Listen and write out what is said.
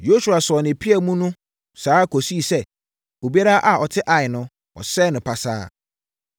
Yosua sɔɔ ne pea no mu saa ara kɔsii sɛ obiara a ɔte Ai no, wɔsɛee no pasaa.